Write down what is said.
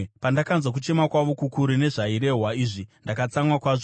Pandakanzwa kuchema kwavo kukuru nezvairehwa izvi, ndakatsamwa kwazvo.